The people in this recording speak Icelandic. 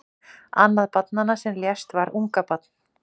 Annað barnanna sem lést var ungabarn